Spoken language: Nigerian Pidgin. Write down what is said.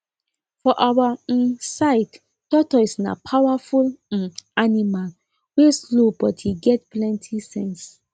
for our um side tortoise na powerful um animal wey slow but he get plenty sense